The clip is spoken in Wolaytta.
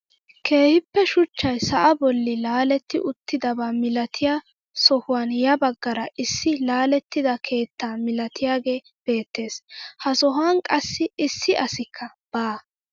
Keehippe shuchchay sa'aa bolli laaletti uttidaba milatiyaa sohuwaan ya baggara issi laalettida keettaa milatiyaagee beettees. ha sohuwan qassi issi asikka baa.